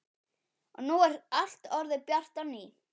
Og nú er allt orðið bjart á ný.